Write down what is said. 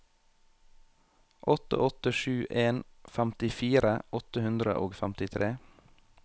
åtte åtte sju en femtifire åtte hundre og femtitre